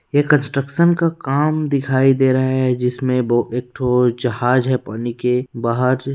ये कन्स्ट्रक्शन का काम दिखाई दे रहा है जिसमें ब एक ठो जहाज है पानी के बाहर --